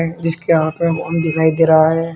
जिसके हाथ में फोन दिखाई दे रहा है।